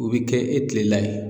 O bɛ kɛ e kilela ye